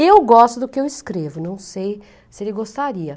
Eu gosto do que eu escrevo, não sei se ele gostaria.